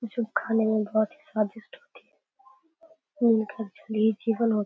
जो खाने में बहुत ही स्वादिष्ट होती है --